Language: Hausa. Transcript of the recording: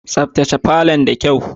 Tsaftace falon da kyau.